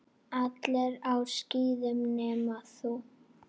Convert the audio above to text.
Allir á skíðum nema þú.